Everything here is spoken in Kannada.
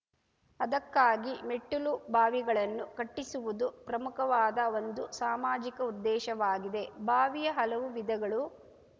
ಅದಕ್ಕಾಗಿ ಮೆಟ್ಟಿಲುಬಾವಿಗಳನ್ನು ಕಟ್ಟಿಸುವುದು ಪ್ರಮುಖವಾದ ಒಂದು ಸಾಮಾಜಿಕಉದ್ದೇಶವಾಗಿದೆ ಬಾವಿಯ ಹಲವು ವಿಧಗಳು